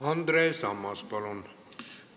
Andres Ammas, palun!